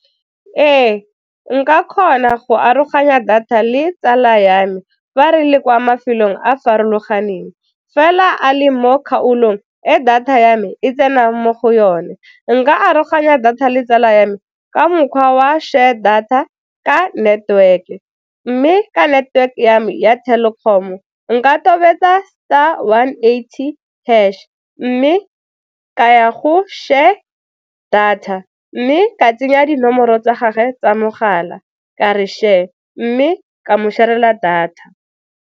Ee, nka kgona go aroganya data le tsala ya me fa re le kwa mafelong a farologaneng fela a le mo kgaolong e data ya me e tsenang mo go yone. Nka aroganya data le tsala ya me ka mokgwa wa share data ka network-e mme ka network ya me ya Telkom-o nka tobetsa star one eighty hash mme ka ya go share data mme ka tsenya dinomoro tsa gagwe tsa mogala ka re share mme ka mo share-rela data.